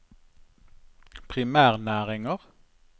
primærnæringer